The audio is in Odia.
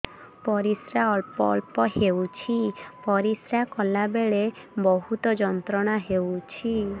ପରିଶ୍ରା ଅଳ୍ପ ଅଳ୍ପ ହେଉଛି ପରିଶ୍ରା କଲା ବେଳେ ବହୁତ ଯନ୍ତ୍ରଣା ହେଉଛି